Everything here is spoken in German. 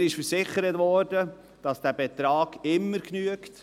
Mir wurde versichert, dass dieser Betrag immer genügt.